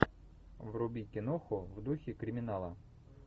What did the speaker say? вруби киноху в духе криминала